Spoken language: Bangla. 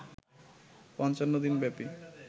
৫৫ দিন ব্যাপী